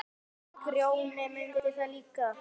Grjóni mundi það líka.